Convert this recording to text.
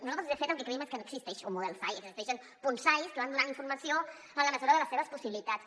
nosaltres de fet el que creiem és que no existeix un model sai existeixen punts sai que van donant informació en la mesura de les seves possibilitats